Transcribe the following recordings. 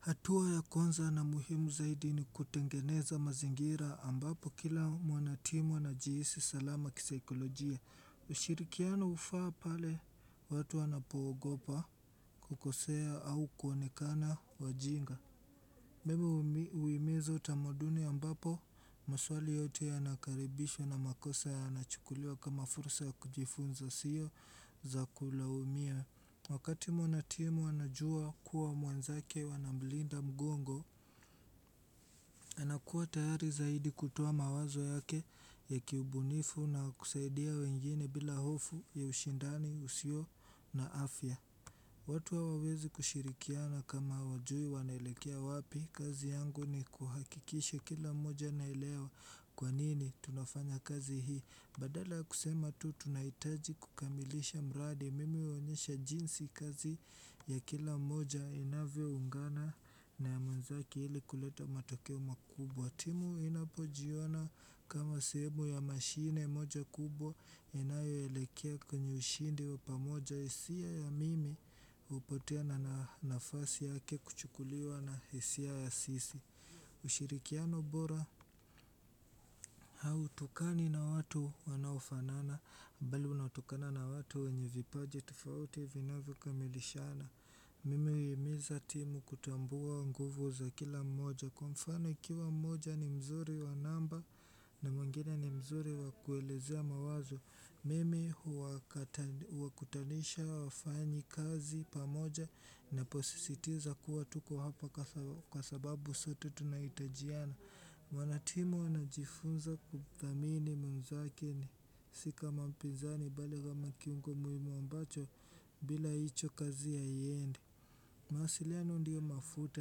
Hatua ya kwanza na muhimu zaidi ni kutengeneza mazingira ambapo kila mwanatimu anajihisi salama kisaikolojia. Ushirikiano hufaa pale watu wanapoogopa kukosea au kuonekana wajinga. Mimi huimiza utamaduni ambapo maswali yote yanakaribishwa na makosa yanachukuliwa kama fursa ya kujifunza sio za kulaumia. Wakati mwanatimu anajua kuwa mwenzake wanamlinda mgongo, anakuwa tayari zaidi kutoa mawazo yake ya kiubunifu na kusaidia wengine bila hofu ya ushindani usio na afya. Watu hawezi kushirikiana kama hawajui wanaelekea wapi, kazi yangu ni kuhakikisha kila mmoja anaelewa kwanini tunafanya kazi hii. Badala kusema tu tunahitaji kukamilisha mraadi mimi huonyesha jinsi kazi ya kila moja inavyo ungana na ya mwenzaki ili kuleta matokeo makubwa timu inapojiona kama sehemu ya mashine moja kubwa inayoelekea kwenye ushindi wa pamoja hisia ya mimi hupotea na nafasi yake kuchukuliwa na hisia ya sisi ushirikiano bora hautokani na watu wanaofanana bali unatokana na watu wenye vipaji tufauti vinavyokamilishana Mimi huhimiza timu kutambua nguvu za kila mmoja kwa mfano ikiwa mmoja ni mzuri wa namba na mwengine ni mzuri wa kuelezea mawazo Mimi huwakutanisha wafanyikazi pamoja ninaposisitiza kuwa tuko hapa kwa sababu sote tunahitajiana Mwanatimu anajifunza kuthamini mwenzake ni si kama mpinzani bali kama kiungo muhimu ambacho bila hicho kazi haiendi mawasiliano ndiyo mafuta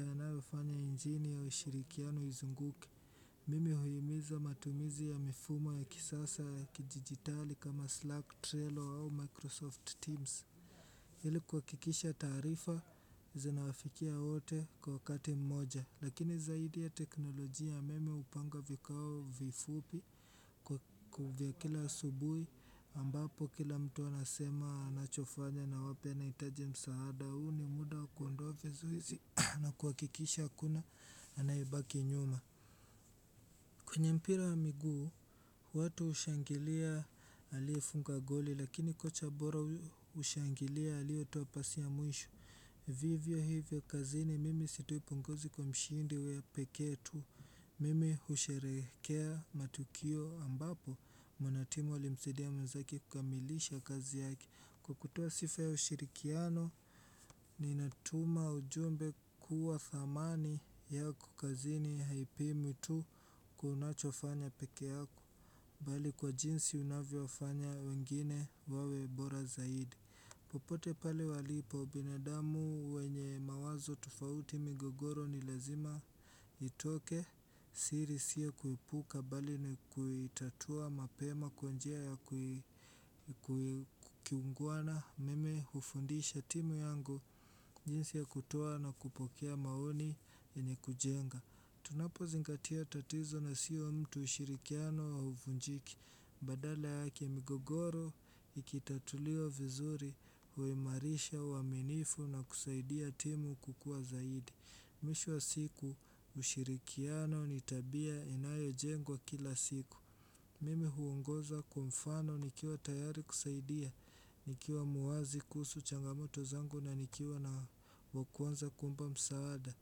yanayofanya injini ya ushirikiano izunguke Mimi huhimiza matumizi ya mifumo ya kisasa ya kijiditali kama Slack, Trello au Microsoft Teams ili kuhakikisha taarifa zinawafikia wote kwa wakati mmoja. Lakini zaidi ya teknoloji ya mimi hupanga vikao vifupi vya kila subuhi ambapo kila mtu anasema anachofanya na wapi anahitaje msaada huu ni muda kuondoa vizuizi na kuhakikisha hakuna anayebaki nyuma. Kwenye mpira wa miguu, watu hushangilia aliyefunga goli, lakini kocha bora ushangilia aliyetoapasi ya mwisho. Vivyo hivyo kazini, mimi sitoi pongezi kwa mshindi huyo pekee tu. Mimi husherehekea matukio ambapo, mwanatimu alimsidia mwenzake kukamilisha kazi yake Kwa kutoa sifa ya ushirikiano, ninatuma ujumbe kuwa thamani yako kazini haipimwi tu kwa unachofanya peke yako, bali kwa jinsi unavyowafanya wengine wawebora zaidi. Popote pale walipo binadamu wenye mawazo tufauti migogoro ni lazima itoke siri sio kuipuka bali ni kuitatua mapema kwa njia ya kiungwana mimi hufundisha timu yangu jinsi ya kutua na kupokea maoni yenye kujenga. Tunapo zingatia tatizo na sio mtu ushirikiano hauvunjiki Badala yake migogoro, ikitatuliwa vizuri, huimarisha, uaminifu na kusaidia timu kukua zaidi Mwisho wa siku ushirikiano ni tabia inayojengwa kila siku Mimi huongoza kwa mfano nikiwa tayari kusaidia Nikiwa mwazi kuhusu changamoto zangu na nikiwa na wa kwanza kuomba msaada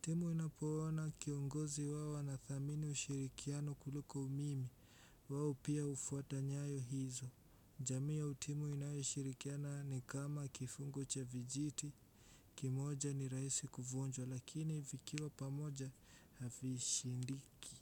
timu inapoona kiongozi wao anathamini ushirikiano kuliko umimi wao pia hufuata nyayo hizo jamii au timu inayoshirikiana ni kama kifungo cha vijiti kimoja ni rahisi kuvunjwa lakini vikiwa pamoja havishindiki.